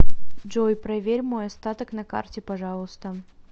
джой проверь мой остаток на карте пожалуйста